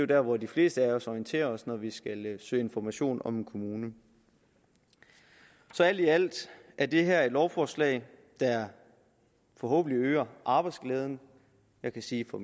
der hvor de fleste af os orienterer os når vi skal søge information om en kommune så alt i alt er det her et lovforslag der forhåbentlig øger arbejdsglæden jeg kan sige for